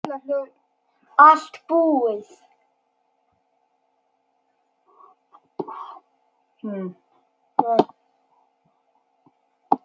Allt búið